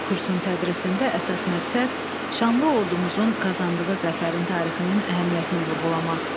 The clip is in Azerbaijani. Kursun tədrisində əsas məqsəd şanlı ordumuzun qazandığı zəfərin tarixinin əhəmiyyətini vurğulamaq.